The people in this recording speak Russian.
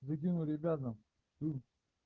выкину ребятам с